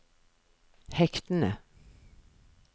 hektene